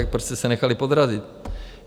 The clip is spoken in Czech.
Tak proč jste se nechali podrazit?